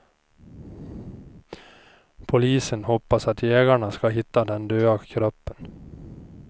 Polisen hoppas att jägarna ska hitta den döda kroppen.